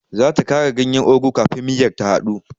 Zata kara ganyen ugu kafin miyar ta hadu.